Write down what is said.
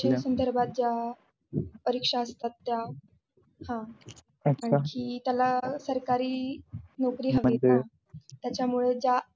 त्याच्यामुळे ज्या संधार्बत ज्या परीक्षा असतात त्या हा आणखी त्याला सरकारी नोकरी हवीये ना म्हणजे.